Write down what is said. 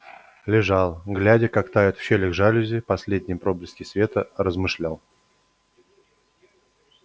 лежал глядя как тают в щелях жалюзи последние проблески света размышлял